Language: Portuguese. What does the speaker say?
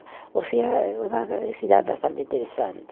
Ou seja, uma cidade bastante interessante.